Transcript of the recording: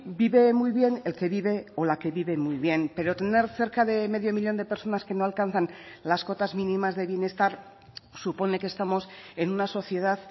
vive muy bien el que vive o la que vive muy bien pero tener cerca de medio millón de personas que no alcanzan las cotas mínimas de bienestar supone que estamos en una sociedad